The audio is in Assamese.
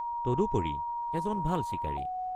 তদুপৰি এজন ভাল চিকাৰী।